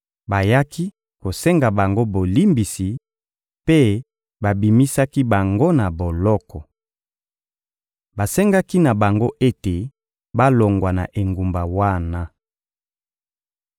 Bayaki kosenga bango bolimbisi, mpe babimisaki bango na boloko. Basengaki na bango ete balongwa na engumba wana.